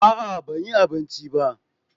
a'a ban yi abinci ba